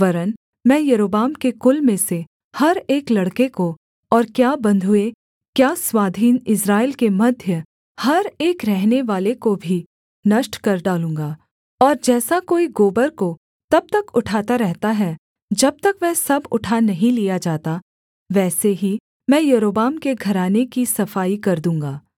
वरन् मैं यारोबाम के कुल में से हर एक लड़के को और क्या बन्धुए क्या स्वाधीन इस्राएल के मध्य हर एक रहनेवाले को भी नष्ट कर डालूँगा और जैसा कोई गोबर को तब तक उठाता रहता है जब तक वह सब उठा नहीं लिया जाता वैसे ही मैं यारोबाम के घराने की सफाई कर दूँगा